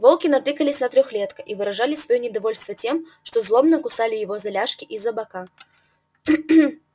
волки натыкались на трёхлетка и выражали своё недовольство тем что злобно кусали его за ляжки и за бока